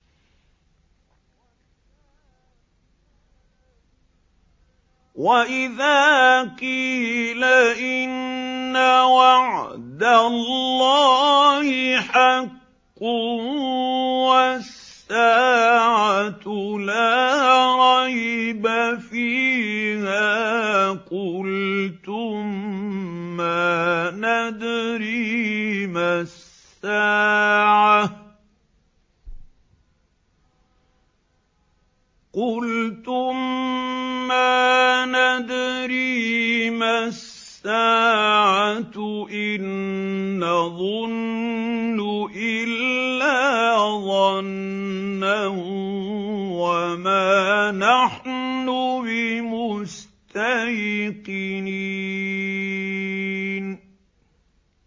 وَإِذَا قِيلَ إِنَّ وَعْدَ اللَّهِ حَقٌّ وَالسَّاعَةُ لَا رَيْبَ فِيهَا قُلْتُم مَّا نَدْرِي مَا السَّاعَةُ إِن نَّظُنُّ إِلَّا ظَنًّا وَمَا نَحْنُ بِمُسْتَيْقِنِينَ